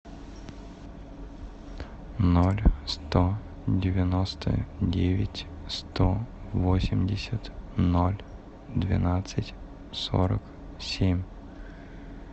ноль сто девяносто девять сто восемьдесят ноль двенадцать сорок семь